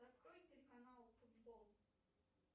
открой телеканал футбол